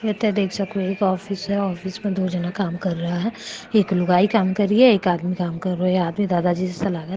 इथे देख सको एक ऑफिस है ऑफिस में दो जना काम कर रहा है एक लुगाई कर रही है एक आदमी काम कर रहा है आदमी दादाजी सो लाग।